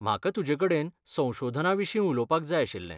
म्हाका तुजेकडेन संशोधनाविशीं उलोवपाक जाय आशिल्लें.